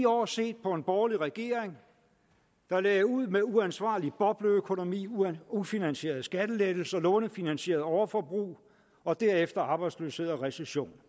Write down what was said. år set på en borgerlig regering der lagde ud med uansvarlig bobleøkonomi ufinansierede skattelettelser lånefinansieret overforbrug og derefter arbejdsløshed og recession